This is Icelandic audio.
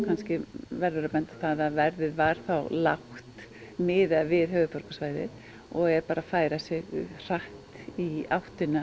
verður að benda á að verðið var þá lágt miðað við höfuðborgarsvæðið og er bara að færa sig hratt í áttina